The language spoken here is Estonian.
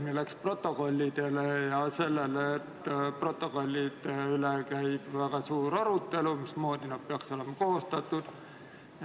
Siin läks jutt protokollidele ja sellele, et protokollide üle käib väga suur arutelu seoses sellega, mismoodi need peaks olema koostatud.